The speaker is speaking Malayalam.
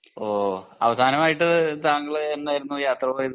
ഓഹ് അവസാനമായിട്ട് താങ്കൾ എന്നായിരുന്നു യാത്ര പോയത്